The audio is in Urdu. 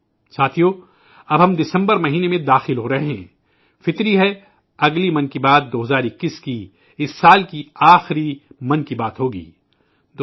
ساتھیو اب ہم دسمبر مہینے میں داخل ہو رہے ہیں، ظاہر ہے آئندہ 'من کی بات' 2021 کا آخری 'من کی بات' ہوگا